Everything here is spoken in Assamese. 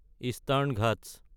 ইষ্টাৰ্ণ ঘাটছ